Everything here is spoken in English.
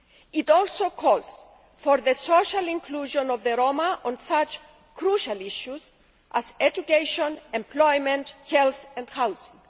It also calls for the social inclusion of the Roma on such crucial issues as education, employment, health and housing.